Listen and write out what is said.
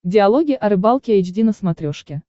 диалоги о рыбалке эйч ди на смотрешке